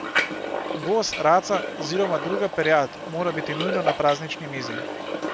Gos, raca oziroma druga perjad mora biti nujno na praznični mizi.